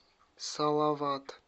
салават